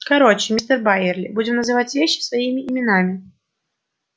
короче мистер байерли будем называть вещи своими именами